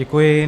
Děkuji.